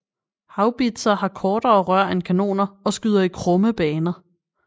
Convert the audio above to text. Haubitser har kortere rør end kanoner og skyder i krumme baner